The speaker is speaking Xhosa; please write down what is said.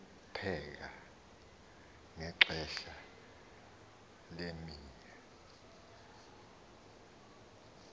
lokupheka ngexesha lemea